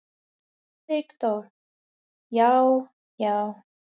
Friðrik Dór: Já. já.